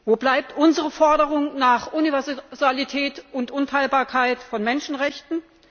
Wo bleibt unsere Forderung nach Universalität und Unteilbarkeit von Menschenrechten?